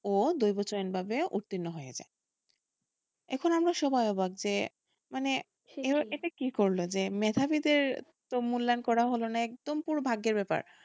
ও দুইবছর উর্তীন্ন হয়ে যায় এখন আমরা সবাই অবাক যে মানে করলো যে মেধাবীদের মূল্যায়ন করা হলো না একদম পুরো ভাগ্যের ব্যাপার,